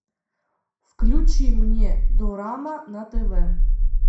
включи мне дорама на тв